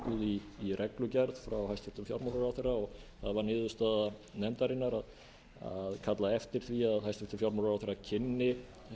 í reglugerð frá hæstvirtum fjármálaráðherra og það varð niðurstaða nefndarinnar að kalla eftir því að hæstvirtur fjármálaráðherra kynni